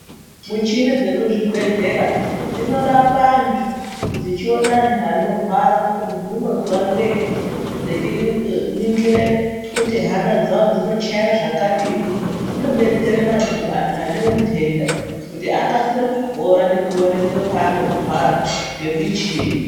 Michini dzekuzvibhedhlera dzinorapa antu dzichiona antu anorwara kuti muntu unozwa ngei dzechiu ningire kuti hama dzawo dzinochaye zvakadini zvinobetsere manhu antu ane untenda kuti akasire kupora nekuonekwe paanorwara ngemichini.